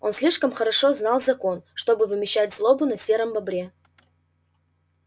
он слишком хорошо знал закон чтобы вымещать злобу на сером бобре